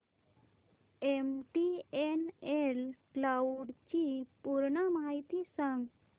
MTNL cloud ची पूर्ण माहिती सांग